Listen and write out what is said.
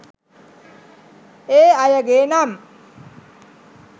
ඒ අයගේ නම්